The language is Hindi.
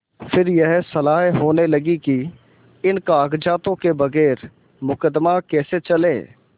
फिर यह सलाह होने लगी कि इन कागजातों के बगैर मुकदमा कैसे चले